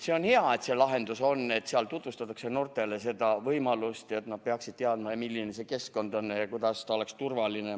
See on hea, et see lahendus on, et seal tutvustatakse noortele seda võimalust ja et nad peaksid teadma, milline see keskkond on ja kuidas ta oleks turvaline.